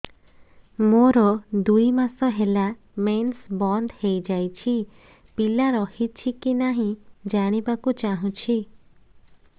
ମୋର ଦୁଇ ମାସ ହେଲା ମେନ୍ସ ବନ୍ଦ ହେଇ ଯାଇଛି ପିଲା ରହିଛି କି ନାହିଁ ଜାଣିବା କୁ ଚାହୁଁଛି